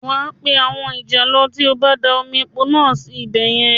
Wà a pé àwọn ìjàlọ tí ó bá da omi epo náà sí ibẹ̀ yẹn